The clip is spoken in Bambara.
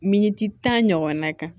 Miniti tan ɲɔgɔn na kan